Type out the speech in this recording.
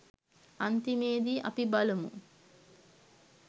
අන්තිමේදී අපි බලමු